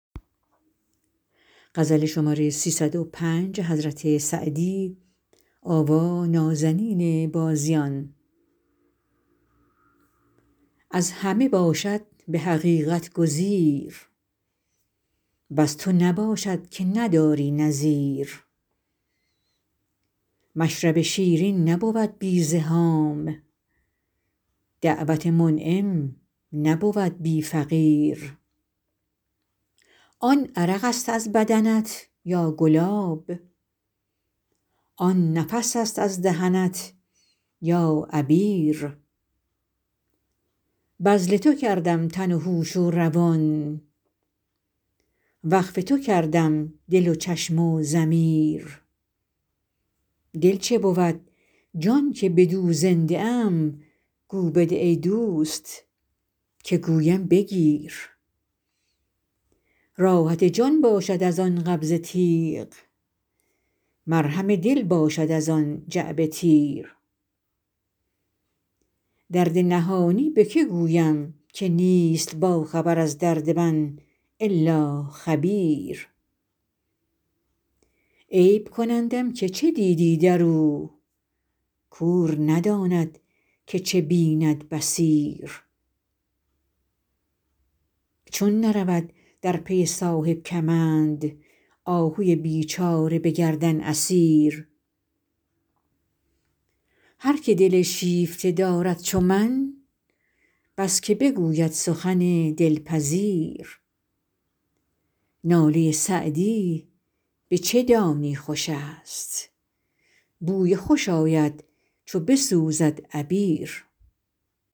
از همه باشد به حقیقت گزیر وز تو نباشد که نداری نظیر مشرب شیرین نبود بی زحام دعوت منعم نبود بی فقیر آن عرق است از بدنت یا گلاب آن نفس است از دهنت یا عبیر بذل تو کردم تن و هوش و روان وقف تو کردم دل و چشم و ضمیر دل چه بود جان که بدو زنده ام گو بده ای دوست که گویم بگیر راحت جان باشد از آن قبضه تیغ مرهم دل باشد از آن جعبه تیر درد نهانی به که گویم که نیست باخبر از درد من الا خبیر عیب کنندم که چه دیدی در او کور نداند که چه بیند بصیر چون نرود در پی صاحب کمند آهوی بیچاره به گردن اسیر هر که دل شیفته دارد چو من بس که بگوید سخن دلپذیر ناله سعدی به چه دانی خوش است بوی خوش آید چو بسوزد عبیر